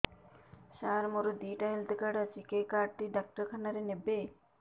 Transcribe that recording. ସାର ମୋର ଦିଇଟା health card ଅଛି କେ କାର୍ଡ ଟି ଡାକ୍ତରଖାନା ରେ ନେବେ